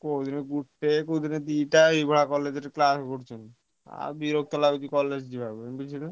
କୋଉଦିନ ଗୋଟେ କୋଉଦିନ ଦିଟା ଏଇଭଳିଆ college ରେ class କରୁଛନ୍ତି ଆଉ ବିରକ୍ତ ଲାଗୁଛି college ଯିବାକୁ ବୁଝିଲୁ।